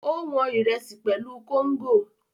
Ó wọn Ìrẹ́sì pẹ̀lú kóngò